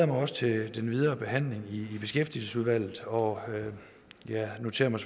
mig også til den videre behandling i beskæftigelsesudvalget og jeg noterer mig